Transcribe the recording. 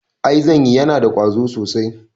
I zanyi, yana da ƙwazo sosai